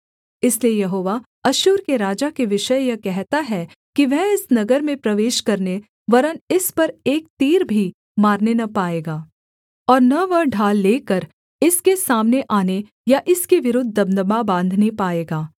इसलिए यहोवा अश्शूर के राजा के विषय यह कहता है कि वह इस नगर में प्रवेश करने वरन् इस पर एक तीर भी मारने न पाएगा और न वह ढाल लेकर इसके सामने आने या इसके विरुद्ध दमदमा बाँधने पाएगा